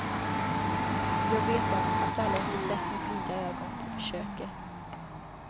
Jag vet om att alla inte sett med blida ögon på försöket.